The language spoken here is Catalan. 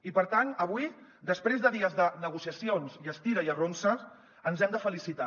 i per tant avui després de dies de negociacions i estira i arronses ens hem de felicitar